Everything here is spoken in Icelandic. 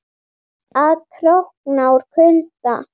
Og að krókna úr kulda.